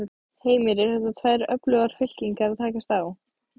Heimir: Eru þetta tvær öflugar fylkingar að takast á?